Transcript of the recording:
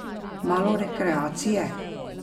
Malo rekreacije.